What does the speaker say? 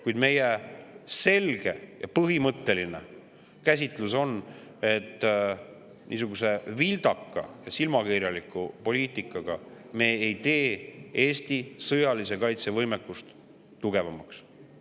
Kuid meie selge ja põhimõtteline käsitlus on, et niisuguse vildaka ja silmakirjaliku poliitikaga me ei tee Eesti sõjalise kaitse võimekust tugevamaks.